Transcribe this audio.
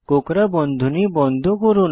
কোঁকড়া বন্ধনী বন্ধ করুন